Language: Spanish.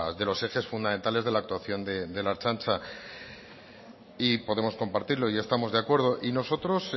de los ejes fundamentales de la actuación de la ertzaintza y podemos compartirlo y estamos de acuerdo y nosotros